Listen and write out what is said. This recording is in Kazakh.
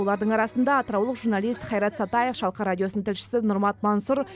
олардың арасында атыраулық журналист хайрат сатаев шалқар радиосының тілшісі нұрмат мансұр